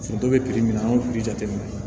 Foronto bɛ min na an y'o jateminɛ